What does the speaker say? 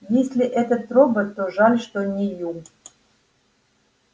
если этот робот то жаль что не ю